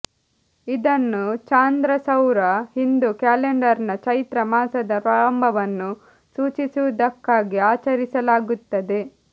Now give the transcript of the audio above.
ಇದನ್ನು ಚಾಂದ್ರಸೌರ ಹಿಂದೂ ಕ್ಯಾಲೆಂಡರ್ನ ಚೈತ್ರ ಮಾಸದ ಪ್ರಾರಂಭವನ್ನು ಸೂಚಿಸುವುದಕ್ಕಾಗಿ ಆಚರಿಸಲಾಗುತ್ತದೆ